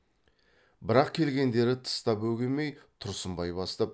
бірақ келгендерді тыста бөгемей тұрсынбай бастап